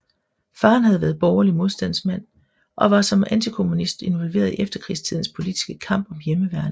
Faderen havde været borgerlig modstandsmand og var som antikommunist involveret i efterkrigstidens politiske kamp om Hjemmeværnet